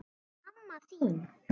En mamma þín?